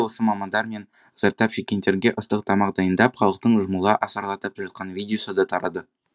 осы мамандар мен зардап шеккендерге ыстық тамақ дайындап халықтың жұмыла асарлатып жатқан видеосы да тарады